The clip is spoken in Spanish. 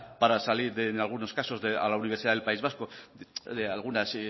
para salir en algunos caso a la universidad del país vasco de algunas